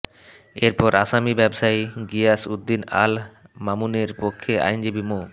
এরপর আসামি ব্যবসায়ী গিয়াস উদ্দিন আল মামুনের পক্ষে আইনজীবী মো